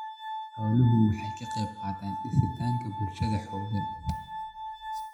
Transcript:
Xooluhu waxay ka qaybqaataan dhisidda bulsho xooggan.